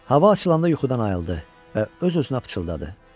Hava açılanda yuxudan ayıldı və öz-özünə pıçıldadı: